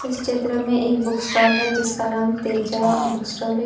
इस चित्र में एक बुक स्टॉल है जिसका नाम तेजा बुक स्टॉल है।